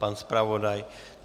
Pan zpravodaj?